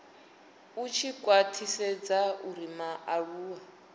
a tshi khwathisedza uri mualuwa